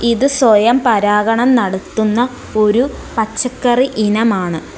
ഇത് സ്വയം പരാഗണം നടത്തുന്ന ഒരു പച്ചക്കറി ഇനമാണ്.